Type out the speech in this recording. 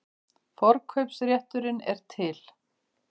Forkaupsrétturinn er til.